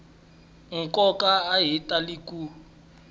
nkoka a ya tali ku